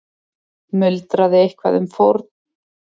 Muldraði eitthvað um fórn.